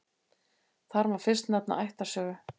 Þar má fyrst nefna ættarsögu.